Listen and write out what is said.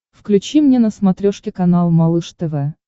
включи мне на смотрешке канал малыш тв